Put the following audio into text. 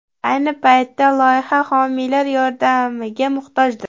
Ayni paytda loyiha homiylar yordamiga muhtojdir.